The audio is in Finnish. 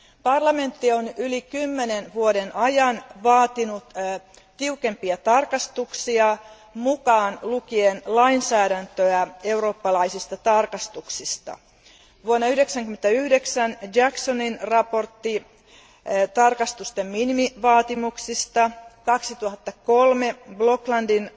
Parlamentti on yli kymmenen vuoden ajan vaatinut tiukempia tarkastuksia, mukaan lukien lainsäädäntö eurooppalaisista tarkastuksista vuonna 1999 Jacksonin mietinnössä tarkastusten minimivaatimuksista, vuonna 2003 Bloklandin